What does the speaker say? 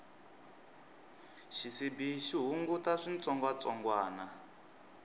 xisibi xi hunguta switsongwatsongwani